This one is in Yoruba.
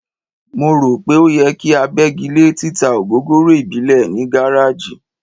Mo rò pé ó yẹ kí a bẹ́gi lé títa ògógóró ìbílẹ̀ ní gáráàjì.